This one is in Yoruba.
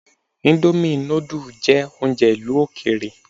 Íńdómì nudù jẹ́ oúnjẹ ìlú òkèèrè.